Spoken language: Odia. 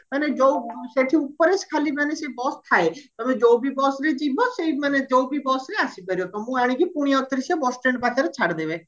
ମାନେ ଯୋଉ ସେଠି ଉପରେ ଖାଲି ମାନେ ସେ bus ଥାଏ ତମେ ଯୋଉ ବି busରେ ଯିବ ସେଇ ମାନେ ଯୋଉ ବି busରେ ଆସିପାରିବ ତମକୁ ଆଣିକି ପୁଣି ଆଉ ଥରେ ସେ bus stand ପାଖରେ ଛାଡିଦେବେ